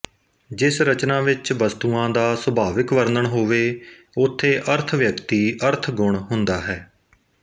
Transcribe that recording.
ਜਿਸ ਰਚਨਾ ਵਿੱਚ ਵਸਤੂਆਂ ਦਾ ਸੁਭਾਵਿਕ ਵਰਣਨ ਹੋਵੇ ਉਥੇ ਅਰਥਵਿਅਕਤੀ ਅਰਥ ਗੁਣ ਹੁੰਦਾ ਹੈ